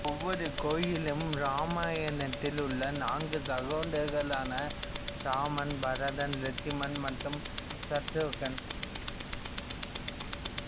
ஒவ்வொரு கோயிலும் இராமாயணத்தில் உள்ள நான்கு சகோதரர்களான இராமன் பரதன் இலட்சுமணன் மற்றும் சத்ருக்கன்